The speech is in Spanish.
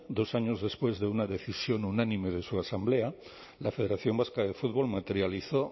dos años después de una decisión unánime de su asamblea la federación vasca de fútbol materializó